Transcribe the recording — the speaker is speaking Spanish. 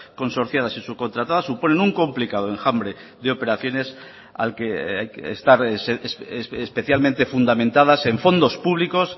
consorciadas y subcontratadas suponen un complicado enjambre de operaciones al que hay que estar especialmente fundamentadas en fondos públicos